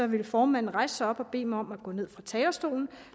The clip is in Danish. ville formanden rejse sig op og bede mig om at gå ned fra talerstolen